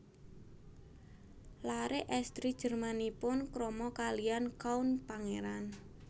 Laré èstri Jermanipun krama kalihan Count pangeran